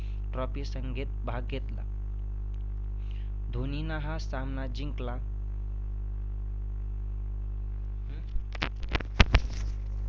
Trophy संघेत भाग घेतला. धोनीनं हा सामना जिंकला.